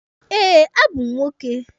Eh, a bụ m nwoke.